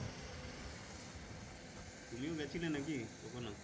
তুমিও গিয়েছিলে নাকি কখনো?